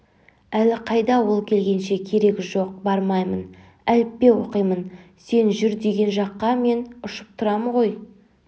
әлі қайда ол келгенше керегі жоқ бармаймын әліппеоқимын сен жүр деген жаққа мен ұшып тұрам ғой